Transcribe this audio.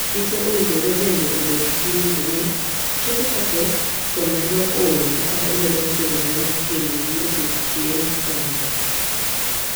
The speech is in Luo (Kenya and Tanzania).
Dichwo owinjore bende obed gi winjo ni chiege ka pek to medo ol kaka omedo chorore machiegni gi odiechieng konyruok.